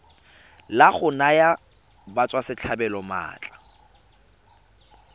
la go naya batswasetlhabelo maatla